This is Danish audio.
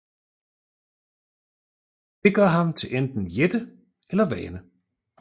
Det gør ham til enten jætte eller vane